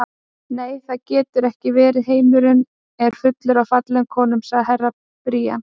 Nei, það getur ekki verið, heimurinn er fullur af fallegum konum, sagði Herra Brian.